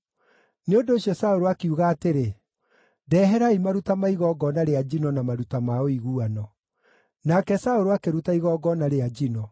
Nĩ ũndũ ũcio Saũlũ akiuga atĩrĩ, “Ndeherai maruta ma igongona rĩa njino na maruta ma ũiguano.” Nake Saũlũ akĩruta igongona rĩa njino.